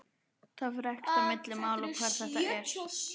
Það fer ekkert á milli mála hvar þetta er.